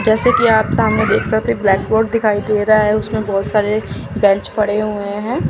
जैसे कि आप सामने देख सकते ब्लैकबोर्ड दिखाई दे रहा है उसमें बहुत सारे बेंच पड़े हुए हैं।